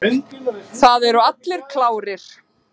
Það eru allir klárir.